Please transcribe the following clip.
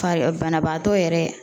Fari banabaatɔ yɛrɛ